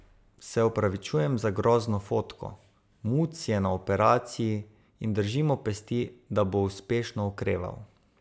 Se opravičujem za grozno fotko, muc je na operaciji in držimo pesti, da bo uspešno okreval.